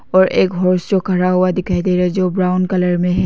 और एक खड़ा हुआ दिखाई दे रहा है जो ब्राऊन कलर में है।